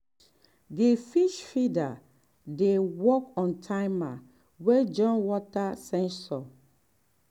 di fish feeder dey work on timer wey join water sensor.